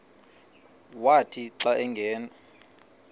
wathi xa angena